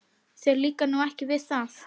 Þér líkar nú ekki við það?